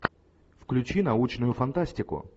включи научную фантастику